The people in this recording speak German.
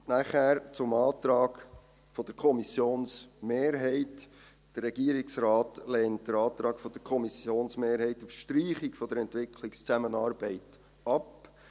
Dann zum Antrag der Kommissionsmehrheit: Der Regierungsrat lehnt den Antrag der Kommissionsmehrheit auf Streichung der Entwicklungszusammenarbeit ab.